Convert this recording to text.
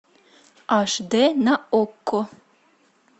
аш дэ на окко